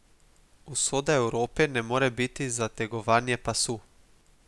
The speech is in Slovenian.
Usoda Evrope ne more biti zategovanje pasu.